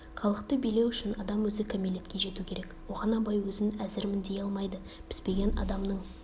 халықты билеу үшін адам өзі кәмелетке жету керек оған абай өзін әзірмін дей алмайды піспеген адамның